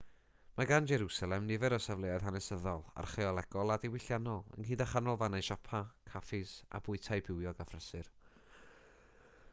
mae gan jerwsalem nifer o safleoedd hanesyddol archeolegol a diwylliannol ynghyd â chanolfannau siopa caffis a bwytai bywiog a phrysur